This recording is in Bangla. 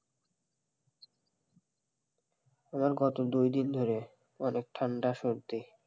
আর কত দুই দিন ধরে অনেক ঠান্ডা সর্দি,